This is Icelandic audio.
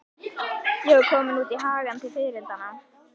Ég var komin út í hagann til fiðrildanna.